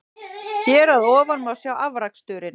Hér að ofan má sjá afraksturinn.